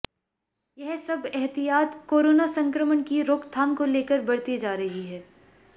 यह सब एहतियात कोरोना संक्रमण की रोकथाम को लेकर बरती जा रही है